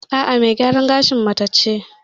A'a, me gyaran gashin mace ce.